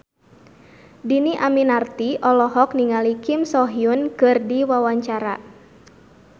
Dhini Aminarti olohok ningali Kim So Hyun keur diwawancara